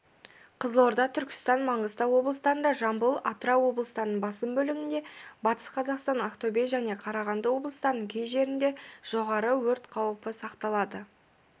қызылорда түркістан маңғыстау облыстарында жамбыл атырау облыстарының басым бөлігінде батыс қазақстан ақтөбе және қарағанды облыстарының кей жерінде жоғары өрт қаупі сақталады